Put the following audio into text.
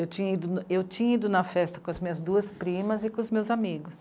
Eu tinha ido, eu tinha ido na festa com as minhas duas primas e com os meus amigos.